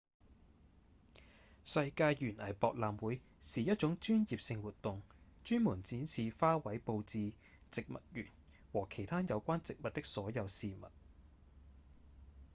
世界園藝博覽會是一種專業性活動專門展示花卉布置、植物園和其他有關植物的所有事物